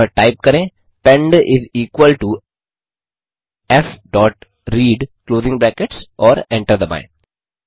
अतः टाइप करें pend is equal to f dot read closing brackets और enter दबाएँ